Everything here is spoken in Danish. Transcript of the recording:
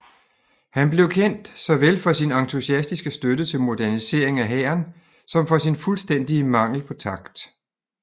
Han blev kendt såvel for sin entusiastiske støtte til modernisering af hæren som for sin fuldstændige mangel på takt